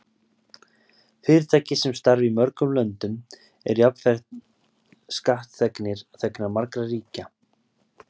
Fyrirtæki sem starfa í mörgum löndum eru jafnframt skattþegnar margra ríkja.